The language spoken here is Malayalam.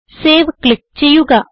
സേവ് ക്ലിക്ക് ചെയ്യുക